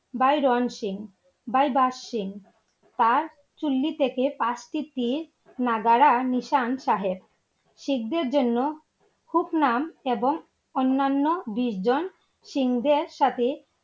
ভাই রন সিং, ভাই বাজ সিং, তার চুল্লি থেকে নাগরা নিশান সাহেব, শিখদের জন্য উপনাম এবং অন্নান্য বিশ জন সিংহদের সাথে!